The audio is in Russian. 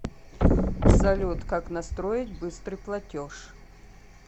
салют как настроить быстрый платеж